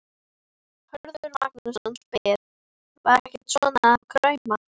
Hörður Magnússon spyr: Var ekkert svona að krauma?